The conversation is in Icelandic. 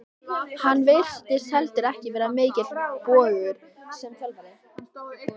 Hann virtist heldur ekki vera mikill bógur sem þjálfari.